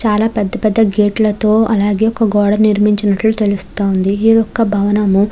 చాలా పెద్ద పెద్ద గేటు లతో అలాగే ఒక గోడ నిర్మించినట్లు తెలుస్తుంది. ఇది ఒక్క భవనం.